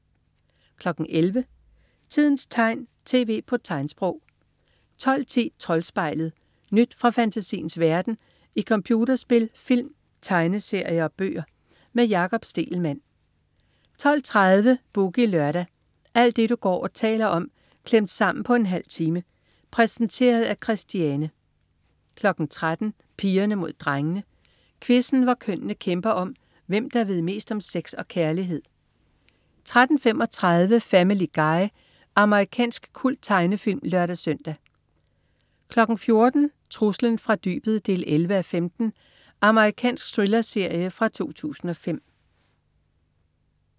11.00 Tidens tegn, tv på tegnsprog 12.10 Troldspejlet. Nyt fra fantasiens verden i computerspil, film, tegneserier og bøger. Med Jakob Stegelmann 12.30 Boogie Lørdag. Alt det du går og taler om klemt sammen på en halv time. Præsenteret af Christiane 13.00 Pigerne Mod Drengene. Quizzen, hvor kønnene kæmper om, hvem der ved mest om sex og kærlighed 13.35 Family Guy. Amerikansk kulttegnefilm (lør-søn) 14.00 Truslen fra dybet 11:15. Amerikansk thrillerserie fra 2005